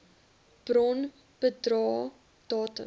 bron bedrae datums